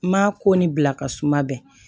N m'a ko ni bila ka suma bɛɛ